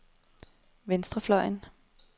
venstrefløjen